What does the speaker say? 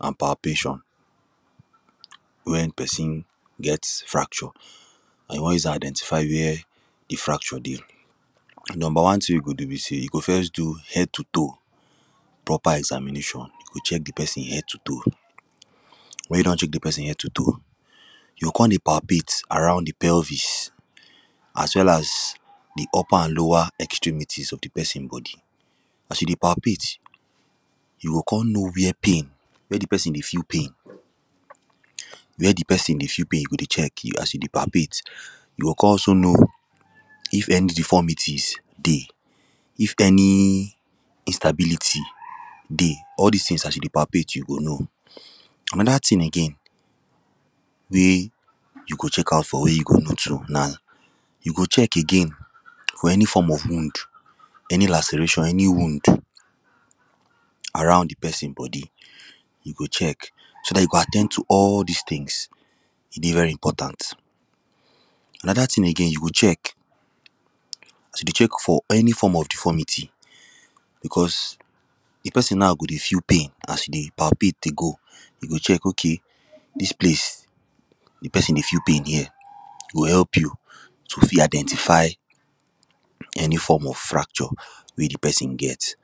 and palpation wen pesin get fracture or you won use am identify where di fracture dey. di number one tin we you go do be sey you go first do head to toe proper examination you go check di person head to toe. wen you don check di person head to toe, you go kon dey palpate around di pelvis as well as di upper and lower etremities of di pesin bodi as you dey palpate, you go kon know were pain were di person dey feel pain where di pesin dey feel pain you go check as you dey palpate you go kon also know, if any deformities dey if any disabilities dey all dis tins as you dey palppate you go know anoda tin again wey you go check out for wey you go know too na, you go check again for any form of wound any laceration any wound around di pesin bodi you go check so dat you go at ten d to all dis tins, e dey very important anoda tin again you go check, as you dey check for any form of deformity because di pesin now go dey feel pain as you dey palpate dey go you go check ok dis place di pesin dey feel pain here e go help you to fi identify, any form of fracture wey di pesin get.